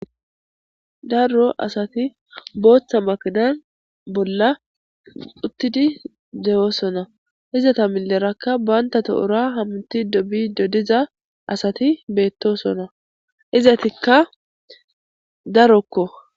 Darro asati booththa makidan bolla uttidi deyoosona izata milerakka bantatohura hamti dobi dodiza asati beettosona izatikka darokko